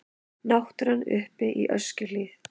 Náttúran uppi í Öskjuhlíð.